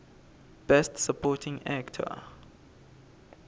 best supporting actor